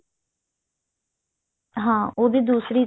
ਹਾਂ ਉਹਦੇ ਦੂਸਰੀ